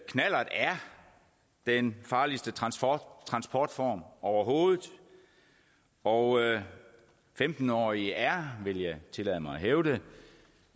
den farligste transportform overhovedet og femten årige er vil jeg tillade mig at hævde